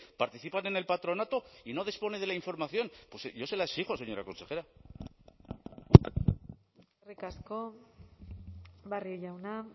participan en el patronato y no dispone de la información pues yo se la exijo señora consejera eskerrik asko barrio jauna